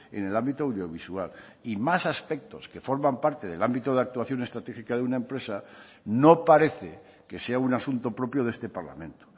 en el ámbito audiovisual y más aspectos que forman parte del ámbito de actuación estratégica de una empresa no parece que sea un asunto propio de este parlamento